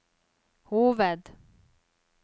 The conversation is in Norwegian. hoved